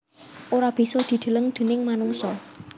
Ora bisa dideleng déning manungsa